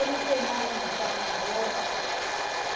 Eu não sei mais onde está a minha roupa.